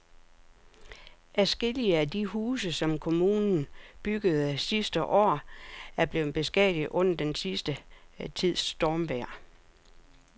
Adskillige af de huse, som kommunen byggede sidste år, er blevet beskadiget under den sidste tids stormvejr.